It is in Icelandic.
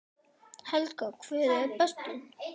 Helga: Hver er bestur?